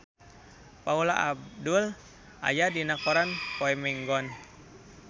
Paula Abdul aya dina koran poe Minggon